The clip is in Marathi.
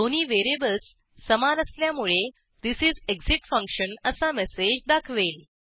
दोन्ही व्हेरिएबल्स समान असल्यामुळे थिस इस एक्सिट फंक्शन असा मेसेज दाखवेल